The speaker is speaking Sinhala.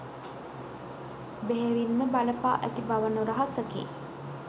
බෙහෙවින්ම බලපා ඇති බව නොරහසකි.